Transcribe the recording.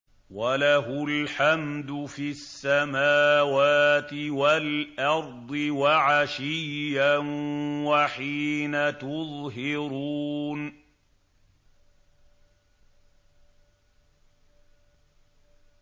وَلَهُ الْحَمْدُ فِي السَّمَاوَاتِ وَالْأَرْضِ وَعَشِيًّا وَحِينَ تُظْهِرُونَ